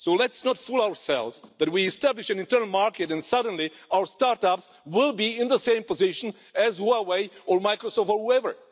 So let's not fool ourselves that we will establish an internal market and suddenly our start ups will be in the same position as Huawei or Microsoft, or whoever.